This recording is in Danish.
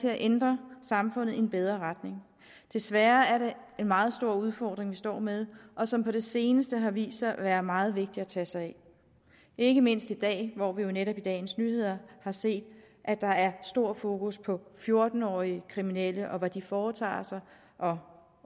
til at ændre samfundet i en bedre retning desværre er det en meget stor udfordring vi står med og som på det seneste har vist sig at være meget vigtig at tage sig af ikke mindst i dag hvor vi jo netop i dagens nyheder har set at der er stor fokus på fjorten årige kriminelle og hvad de foretager sig og